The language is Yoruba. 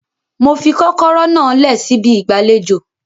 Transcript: Mo fi kọ́kọ́rọ́ náà lẹ̀ síbi ìgbàlejò